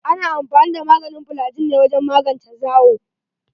Ana amfani da maganin flygin ne wajen magance zawayi.